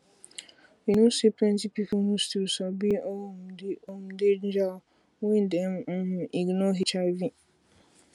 you know say plenty people no still sabi um the um danger wen dem um ignore hiv